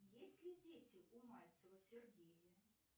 есть ли дети у мальцева сергея